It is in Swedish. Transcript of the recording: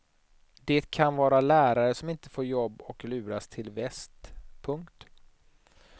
Det kan vara lärare som inte får jobb och luras till väst. punkt